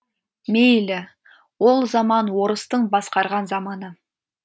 мейлі ол заман орыстың басқарған заманы